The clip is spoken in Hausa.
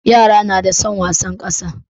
Yara suna da san wasar kasa.